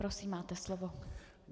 Prosím, máte slovo.